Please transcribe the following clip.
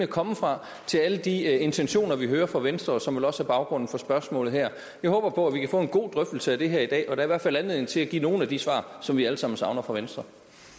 komme fra til alle de intentioner vi hører fra venstre og som vel også er baggrunden for spørgsmålet her jeg håber på at vi kan få en god drøftelse af det her i dag der er i hvert fald anledning til at give nogle af de svar som vi alle sammen savner fra venstre